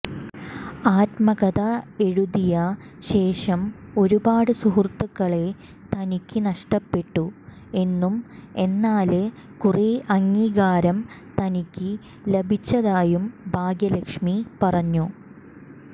ആത്മകഥ എഴുതിയ ശേഷം ഒരുപാട് സുഹൃത്തുക്കളെ തനിക്ക് നഷ്ട്ടപ്പെട്ടു എന്നും എന്നാല് കുറെ അംഗീകാരം തനിക്ക് ലഭിച്ചതായും ഭാഗ്യലക്ഷ്മി പറഞ്ഞു